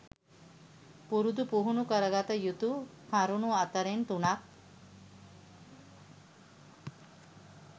පුරුදු පුහුණු කරගත යුතු කරුණු අතරෙන් තුනක්